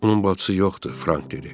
Onun bacısı yoxdur, Frank dedi.